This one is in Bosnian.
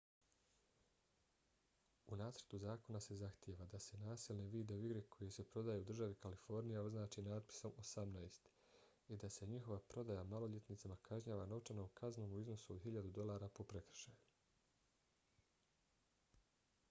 u nacrtu zakona se zahtijeva da se nasilne video igre koje se prodaju u državi kalifornija označe natpisom 18 i da se njihova prodaja maloljetnicima kažnjava novčanom kaznom u iznosu od 1000 dolara po prekršaju